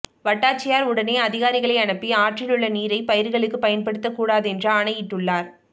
வட்டாட்சியர் உடனே அதிகாரிகளை அனுப்பி ஆற்றிலுள்ள நீரை பயிர்களுக்கு பயன்படுத்த கூடாதென்று ஆனையிட்டுள்ளார்